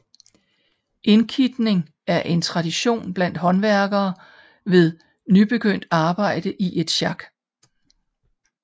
Indkitning er en tradition blandt håndværkere ved nybegyndt arbejde i et sjak